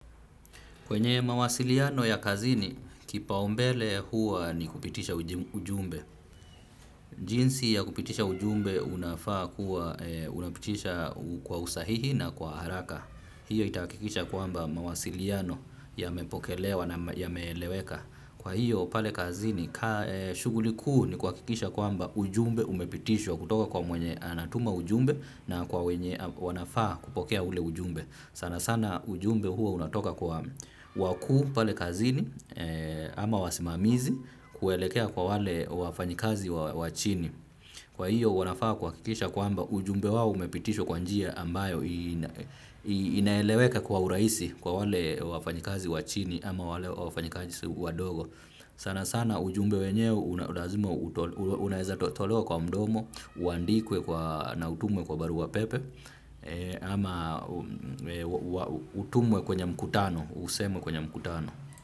Kwenye mawasiliano ya kazini, kipaumbele huwa ni kupitisha ujim ujumbe. Jinsi ya kupitisha ujumbe unafaa kuwa unapitisha kwa usahihi na kwa haraka. Hiyo itahakikisha kwamba mawasiliano yamepokelewa na yameeleweka. Kwa hiyo pale kazini, shughuliku ni kuhakikisha kwamba ujumbe umepitishwa kutoka kwa mwenye anatuma ujumbe na kwa wenye wanafaa kupokea ule ujumbe. Sana sana ujumbe huo unatoka kwa wakuu pale kazini ama wasimamizi kuelekea kwa wale wafanyikazi wa wachini. Kwa hiyo wanafaa kuhakikisha kwamba ujumbe wao umepitishwa kwa njia ambayo ina inaeleweka kwa urahisi kwa wale wafanyikazi wa chini ama wale wafanyikazi wadogo. Sana sana ujumbe wenyewe una lazima unaezatolewa kwa mdomo, uandikwe kwa na utumwe kwa barua pepe, ama utumwe kwenye mkutano, usemwe kwenye mkutano.